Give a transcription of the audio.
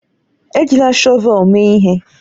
Ejila shọvel mee ihe!